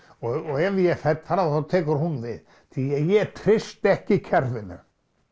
og ef ég fell frá þá tekur hún við því ég treysti ekki kerfinu